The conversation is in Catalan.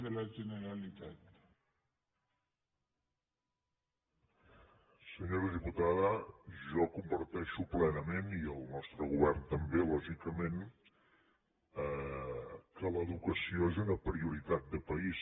senyora diputada jo comparteixo plenament i el nostre govern també lògicament que l’educació és una prioritat de país